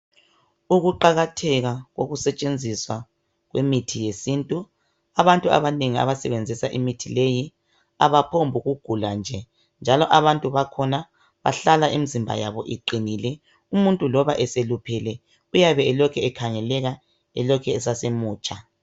ukuqakatheka kokusetshenziswa kwemithi yesintu abantu abanengi abasebenzisa imithi leyi abaphumbu nukuula nje njalo abantu bakhona bahlala imizimba yabo iqinile umuntu loba eluphele uyabe elokhe ekhangeleka esase mutsha